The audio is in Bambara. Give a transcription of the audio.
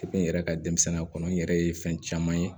n yɛrɛ ka denmisɛnninya kɔnɔ n yɛrɛ ye fɛn caman ye